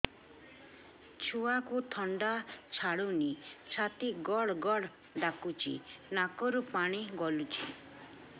ଛୁଆକୁ ଥଣ୍ଡା ଛାଡୁନି ଛାତି ଗଡ୍ ଗଡ୍ ଡାକୁଚି ନାକରୁ ପାଣି ଗଳୁଚି